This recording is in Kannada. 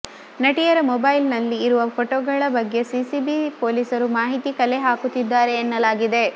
ನಟಿಯರ ಮೊಬೈಲ್ ನಲ್ಲಿ ಇರುವ ಫೋಟೋಗಳ ಬಗ್ಗೆ ಸಿಸಿಬಿ ಪೊಲೀಸರು ಮಾಹಿತಿ ಕಲೆ ಹಾಕುತ್ತಿದ್ದಾರೆ ಎನ್ನಲಾಗಿದೆ